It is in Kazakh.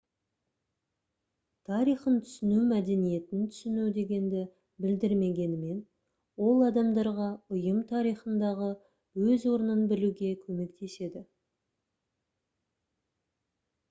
тарихын түсіну мәдениетін түсіну дегенді білдірмегенімен ол адамдарға ұйым тарихындағы өз орнын білуге көмектеседі